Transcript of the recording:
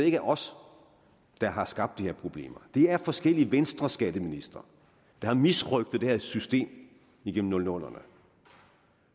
ikke er os der har skabt de her problemer det er forskellige venstreskatteministre der har misrøgtet det her system igennem nullerne